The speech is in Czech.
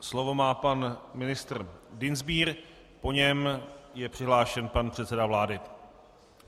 Slovo má pan ministr Dienstbier, po něm je přihlášen pan předseda vlády.